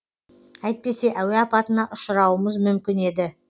әйтпесе әуе апатына ұшаруымыз мүмкін еді